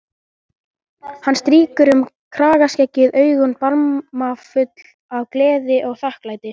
Hann strýkur um kragaskeggið, augun barmafull af gleði og þakklæti.